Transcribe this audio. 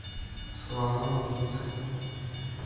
слова убийца